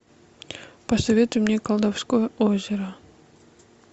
посоветуй мне колдовское озеро